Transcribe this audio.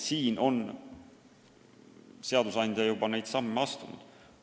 Nii et seadusandja on juba niisuguseid samme astunud.